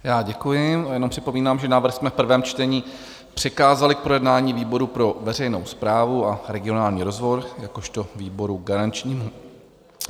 Já děkuji, jenom připomínám, že návrh jsme v prvém čtení přikázali k projednání výboru pro veřejnou správu a regionální rozvoj jakožto výboru garančnímu.